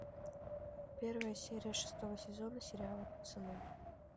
первая серия шестого сезона сериала пацаны